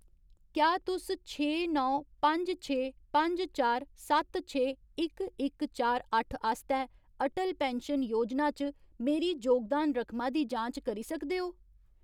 क्या तुस छे नौ पंज छे पंज चार सत्त छे इक इक चार अट्ठ आस्तै अटल पैन्शन योजना च मेरी जोगदान रकमा दी जांच करी सकदे ओ ?